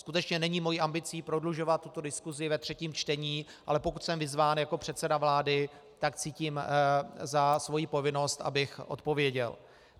Skutečně není mou ambicí prodlužovat tuto diskusi ve třetím čtení, ale pokud jsem vyzván jako předseda vlády, tak cítím jako svoji povinnost, abych odpověděl.